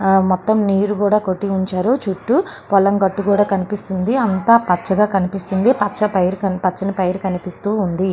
ఆ మొత్తం నీరు కూడా కొట్టి ఉంచారు. చుట్టూ పొలం కట్టు కూడా కనిపిస్తుంది. అంత పచ్చగా కనిపిస్తుంది. పచ్చని పైరు కనిపిస్తూ ఉంది.